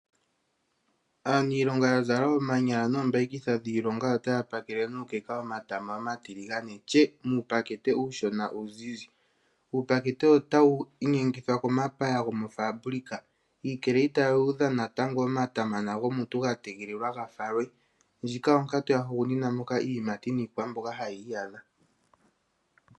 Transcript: Aaniilonga ya zala omanyala noombayikitha giilonga otaya pakele nuukeka omatama omatiligane tye muupakete uushona uuzizi. Uupakete otawu inyengithwa komapaya gomofaabulika. Iipakete pya udha natango omatama ga tega ga falwe. Ndjika onkatu ya hugunina moka iiyimati niikwamboga hayi iyadha.